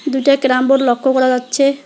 দুইটা carrom board লক্ষ করা যাচ্ছে।